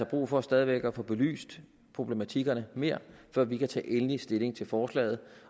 brug for stadig væk at få belyst problematikkerne mere før vi kan tage endelig stilling til forslaget